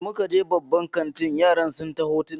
Da muka je babban kantin yaran sun ta hotona